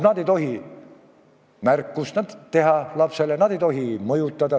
Nad ei tohi lapsele märkust teha, nad ei tohi mõjutada.